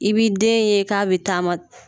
I b'i den ye k'a bɛ taama